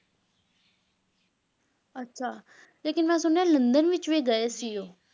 ਅੱਛਾ, ਲੇਕਿਨ ਮੈਂ ਸੁਣਿਆ ਹੈ ਲੰਡਨ ਵਿੱਚ ਵੀ ਗਏ ਸੀ ਉਹ।